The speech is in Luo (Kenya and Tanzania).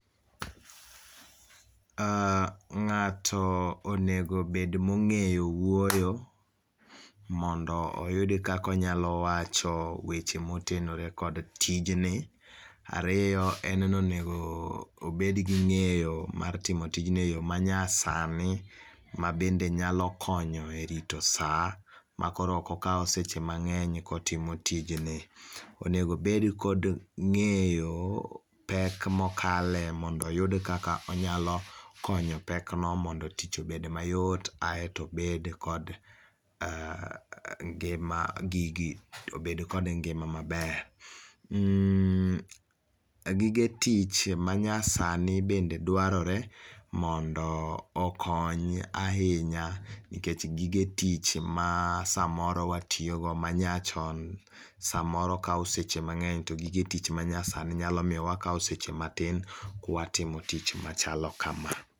Uh ng'ato onego bed mong'eyo wuoyo mondo oyud kaka onyalo wacho weche motenore kod tijni. Ario en nonego bed gi ng'eyo mar timo tijni e yoo manyasani, mabende nyalo konyo e rito saa makoro okokau seche mang'eny kotimo tijni. Onego bed kod ng'eyo pek mokale mondo oyud kaka onyalo konyo pekno mondo tich obed mayot ae to obed kod uh ngima gigi obed kod ngima maber. Mm gige tich manyasani bende dwarore mondo okony ahinya nikech gige tich masamoro watiogo manyachon samoro kao seche mang'eny to gige tich manyasani nyalo mio wakao seche matin kwatimo tich machalo kama.